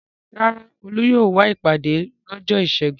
Rárá, Olú yóò wá sí ìpàdé lọ́jọ́ ìṣẹ́gun.